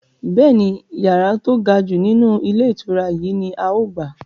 Bẹ́ẹ̀ni, yàrá to gajù nínú ilé ìtura yìí ni Áà ó gbà.